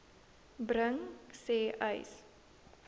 bring sê uys